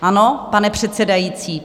Ano, pane předsedající?